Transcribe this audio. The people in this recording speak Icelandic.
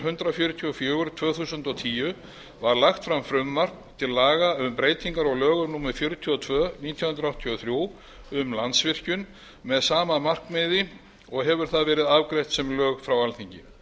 hundrað fjörutíu og fjögur tvö þúsund og tíu var lagt fram frumvarp til laga um breytingar á lögum númer fjörutíu og tvö nítján hundruð áttatíu og þrjú um landsvirkjun með sama markmiði og hefur það verið afgreitt sem lög frá alþingi